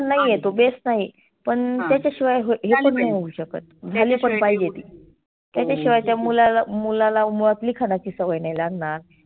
नाहीए तो base नाहीए. पण त्याच्याशीवाय हे पण नाही होऊ शकत. झाली पण पाहिजे ती. त्याच्याशिवाय त्या मुलाला मुलाला मुळात लिखाणाची सवय नाही लागणार.